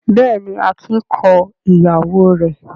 Bẹ́ẹ̀ ni, Akin kọ ìyàwó rẹ̀.